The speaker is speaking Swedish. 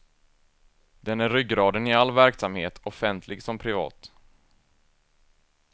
Den är ryggraden i all verksamhet, offentlig som privat.